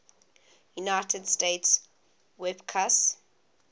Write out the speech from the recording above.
united states wpcus